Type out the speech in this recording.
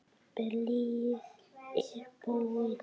Blýið er búið.